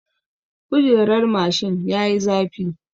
Kujerar mashin yayi zafi.